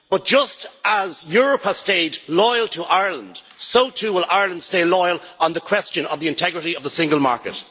Just as Europe has stayed loyal to Ireland, so too will Ireland stay loyal on the question of the integrity of the single market.